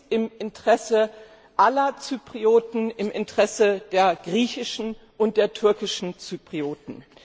Es ist im Interesse aller Zyprioten, im Interesse der griechischen und der türkischen Zyprioten.